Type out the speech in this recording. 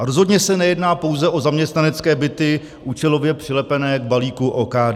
A rozhodně se nejedná pouze o zaměstnanecké byty účelově přilepené k balíku OKD.